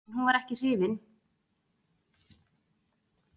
En hún var ekkert hrifin af því að láta þvo af sér brúna litinn.